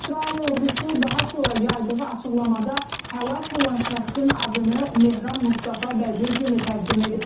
İsrail ordusu daha sonra yaydığı açıqlamada həlak olan şəxsin adını Mehram Mustafa Bəcur kimi təqdim edib.